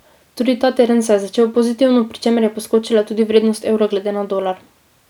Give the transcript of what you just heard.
Tudi ta teden se je začel pozitivno, pri čemer je poskočila tudi vrednost evra glede na dolar.